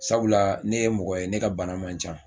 Sabula ne ye mɔgɔ ye ne ka bana man can.